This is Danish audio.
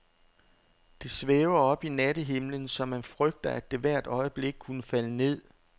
Det svæver oppe i nattehimlen, så man frygter, at det hvert øjeblik kunne falde ned.